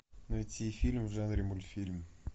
найти фильм в жанре мультфильм